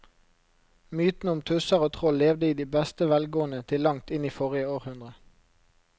Mytene om tusser og troll levde i beste velgående til langt inn i forrige århundre.